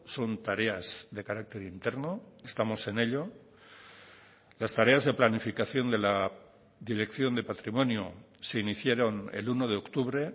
son tareas de carácter interno estamos en ello las tareas de planificación de la dirección de patrimonio se iniciaron el uno de octubre